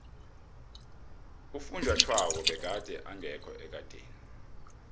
ufunjathwako begade engekho ekadeni